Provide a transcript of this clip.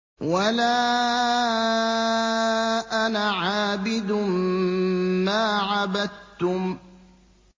وَلَا أَنَا عَابِدٌ مَّا عَبَدتُّمْ